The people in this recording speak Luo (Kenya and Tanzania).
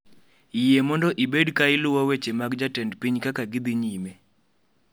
Yie mondo ibed ka iluwo weche mag jatend piny kaka gidhi nyime